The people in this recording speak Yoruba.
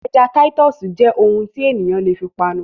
Ẹja Titus jẹ́ ohun tí ènìyàn lè fi panu